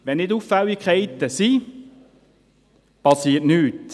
Wenn keine Auffälligkeiten vorhanden sind, geschieht nichts.